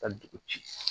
Ka dugu ci